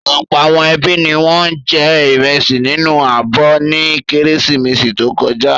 Ọ̀pọ̀ àwọn ẹbí ni wọ́n jẹ ìrẹsì nínú abọ́ ní Kérésìmesì tó kọjá.